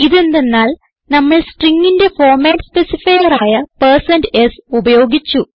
ഇതെന്തന്നാൽ നമ്മൾ stringന്റെ format specifier ആയ s ഉപയോഗിച്ചു